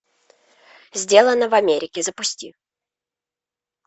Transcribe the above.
сделано в америке запусти